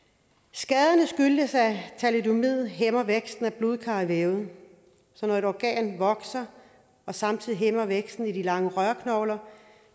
skaderne skyldtes at thalidomid hæmmer væksten af blodkar i vævet så når et organ vokser og samtidig hæmmer væksten i de lange rørknogler